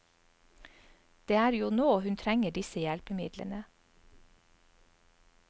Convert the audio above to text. Det er jo nå hun trenger disse hjelpemidlene.